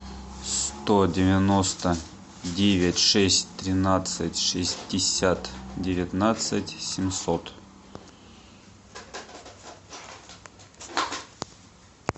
сто девяносто девять шесть тринадцать шестьдесят девятнадцать семьсот